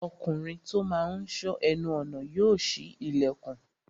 Ọkùnrin tó máa n sọ́ ẹnu ọnà yóò ṣí ilẹ̀kùn